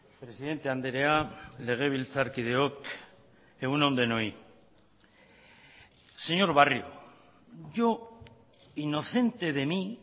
presidente andrea legebiltzarkideok egunon denoi señor barrio yo inocente de mí